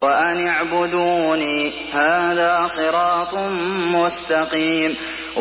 وَأَنِ اعْبُدُونِي ۚ هَٰذَا صِرَاطٌ مُّسْتَقِيمٌ